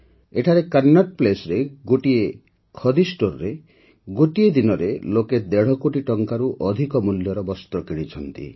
ଏଠାରେ କନଟ୍ ପ୍ଲେସ୍ରେ ମାତ୍ର ଗୋଟିଏ ଖଦି ଷ୍ଟୋର୍ରେ ଗୋଟିଏ ଦିନରେ ଲୋକେ ଦେଢ଼ କୋଟି ଟଙ୍କାରୁ ଅଧିକ ମୂଲ୍ୟର ବସ୍ତ୍ର କିଣିଛନ୍ତି